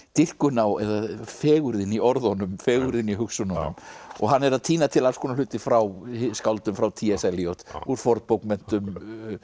dýrkun á fegurðin í orðunum fegurðin í hugsununum og hann er að tína til alls konar hluti frá skáldum frá t s s Eliot úr fornbókmenntum